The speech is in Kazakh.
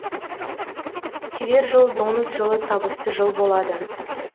келер жыл доңыз жылы табысты жыл болады